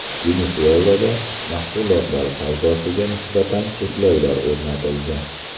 Venesuelada mahsulotlar savdosiga nisbatan cheklovlar o‘rnatildi.